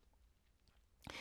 DR2